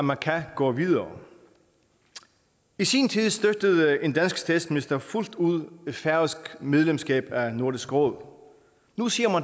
man kan gå videre i sin tid støttede en dansk statsminister fuldt ud færøsk medlemskab af nordisk råd nu siger